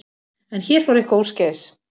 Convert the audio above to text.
En hér fór eitthvað úrskeiðis.